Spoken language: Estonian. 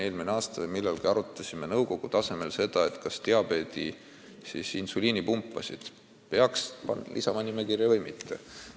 Eelmisel aastal me millalgi arutasime nõukogu tasemel seda, kas diabeetikute insuliinipumbad peaks nimekirja lisama.